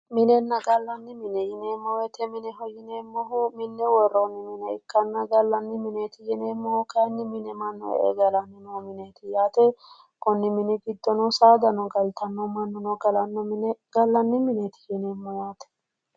Minenna gallanni mine yineemmo woyte mineho yineemmohu minne worroonni mine ikkanna, gallanni mineeti yineemmohu kayiinni mannu mine e"e galanno mineeti yaate, konni mini giddo saadano galtanno mannuno galanno gallanni mine yinummowaati